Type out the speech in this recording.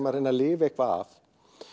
að reyna að lifa eitthvað af